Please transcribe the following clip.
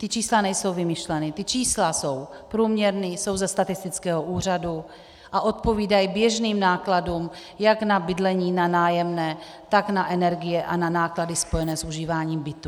Ta čísla nejsou vymyšlená, ta čísla jsou průměrná, jsou ze statistického úřadu a odpovídají běžným nákladům jak na bydlení, na nájemné, tak na energie a na náklady spojené s užíváním bytů.